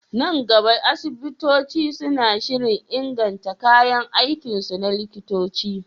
Nan gaba, asibitoci suna shirin inganta kayan aikinsu na likitanci.